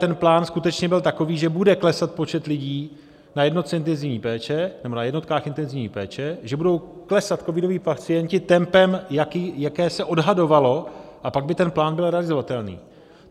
ten plán skutečně byl takový, že bude klesat počet lidí na jednotkách intenzivní péče, že budou klesat covidoví pacienti tempem, jaké se odhadovalo, a pak by ten plán byl realizovatelný.